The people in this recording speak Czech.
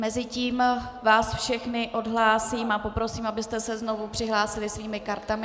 Mezitím vás všechny odhlásím a poprosím, abyste se znovu přihlásili svými kartami.